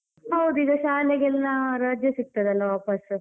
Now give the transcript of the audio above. ಹೌದು, ಈಗ ಶಾಲೆಗೆಲ್ಲ ರಜೆ ಸಿಕ್ತದಲ್ಲ ವಾಪಸ್?